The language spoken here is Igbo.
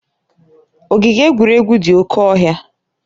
Ogige egwuregwu dị oke ọhịa.